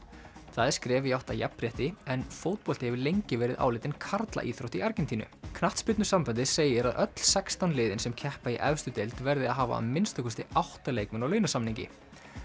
það er skref í átt að jafnrétti en fótbolti hefur lengi verið álitinn karlaíþrótt í Argentínu knattspyrnusambandið segir að öll sextán liðin sem keppa í efstu deild verði að hafa að minnsta kosti átta leikmenn á launasamningi